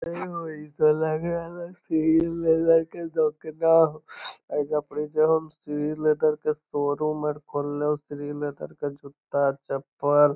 ए होय इ ते लग रहल हो कि श्री लेदर के दोकना होअ एईजा पारी जे है श्री लेदर के शो रूम खोलले होअ श्री लैदर के जुत्ता-चप्पल --